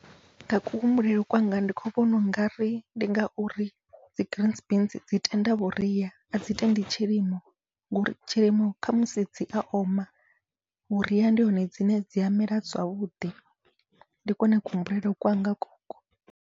Nga kuhumbulele kwanga ndi khou vhona u ngari ndi ngauri dzi green beans dzi tenda vhuria adzi tendi tshilimo, ngori tshilimo khamusi dzia oma vhuria ndi hone dzine dzia mela zwavhuḓi, ndi kwone kuhumbulele kwanga koko.